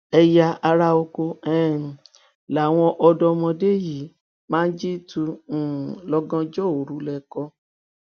ẹyà ara oko um làwọn ọdọmọdé yìí máa ń jí tu um lọgànjọ òru lẹkọọ